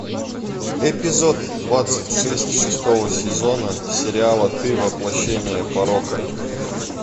эпизод двадцать шесть шестого сезона сериала ты воплощение порока